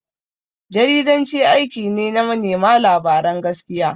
Jaridanci aiki ne na manema labaran gaskiya.